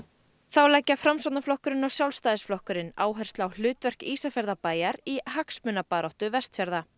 þá leggja framsóknarflokkurinn og Sjálfstæðisflokkurinn áherslu á hlutverk Ísafjarðarbæjar í hagsmunabaráttu Vestfjarða